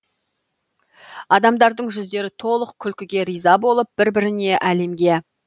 адамдардың жүздері толы күлкіге риза болып бір біріне әлемге